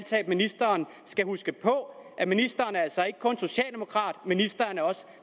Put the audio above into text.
ministeren skal huske på at ministeren altså ikke kun er socialdemokrat ministeren er også